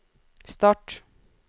start